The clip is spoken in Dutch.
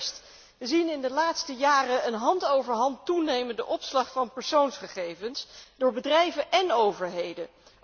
Allereerst zien we in de laatste jaren een hand over hand toenemende opslag van persoonsgegevens door bedrijven en overheden.